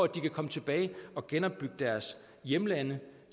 de kan komme tilbage og genopbygge deres hjemlande